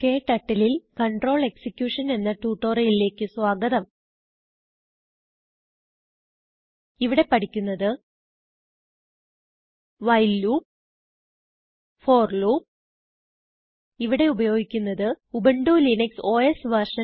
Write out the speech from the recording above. KTurtleൽControl execution എന്ന ട്യൂട്ടോറിയലിലേക്ക് സ്വാഗതം ഇവിടെ പഠിക്കുന്നത് വൈൽ ലൂപ്പ് ഫോർ ലൂപ്പ് ഇവിടെ ഉപയോഗിക്കുന്നത് ഉബുന്റു ലിനക്സ് ഓസ് വെർഷൻ